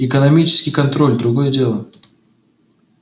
экономический контроль другое дело